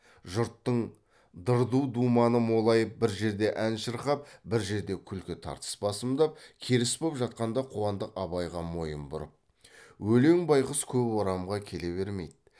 жұрттың дырду думаны молайып бір жерде ән шырқап бір жерде күлкі тартыс басымдап керіс боп жатқанда қуандық абайға мойын бұрып өлең байғұс көп орамға келе бермейді